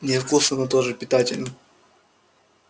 невкусно но тоже питательно